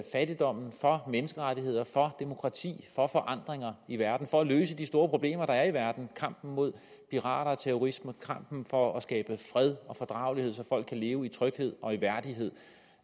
fattigdom for menneskerettigheder for demokrati for forandringer i verden for at løse de store problemer der er i verden kampen mod pirater og terrorisme i kampen for at skabe fred og fordragelighed så folk kan leve i tryghed og i værdighed